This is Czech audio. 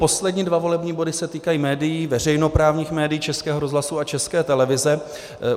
Poslední dva volební body se týkají médií, veřejnoprávních médií, Českého rozhlasu a České televize.